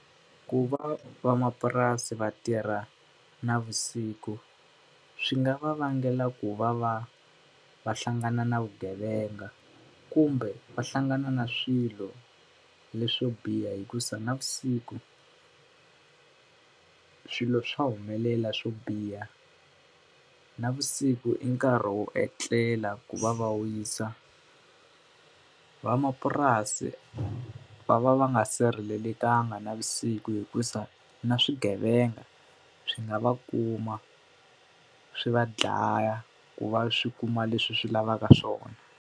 Ku va van'wapurasi va tirha navusiku, swi nga va vangela ku va va va hlangana na vugevenga kumbe va hlangana na swilo leswo biha hikusa navusiku ku swilo swa humelela swo biha, navusiku i nkarhi wo etlela ku va va wisa. Vamapurasi va va va nga sirhelelekanga navusiku hikuva na swigevenga swi nga va kuma, swi va dlaya, ku va swi kuma leswi swi lavaka swona.